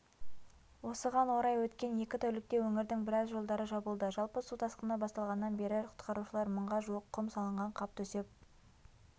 осыған орай өткен екі тәулікте өңірдің біраз жолдары жабылды жалпы су тасқыны басталғаннан бері құтқарушылар мыңға жуық құм салынған қап төсеп